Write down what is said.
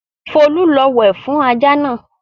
Folú lọ wẹ̀ fún ajá náà!